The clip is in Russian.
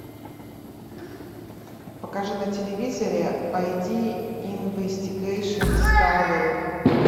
покажи на телевизоре ай ди инвестигейшн дискавери